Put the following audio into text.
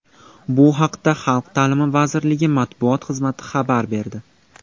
Bu haqda Xalq ta’limi vazirligi matbuot xizmati xabar berdi.